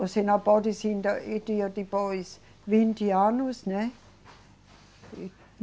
Você não pode se e dia depois, vinte anos, né?